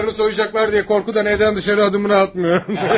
Paralarını soyacaqlar deyə qorxudan evdən dışarı adımını atmır.